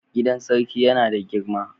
Gidan Sarki yana da girma.